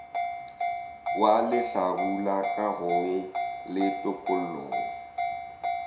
wa lehlabula kagong le tokollong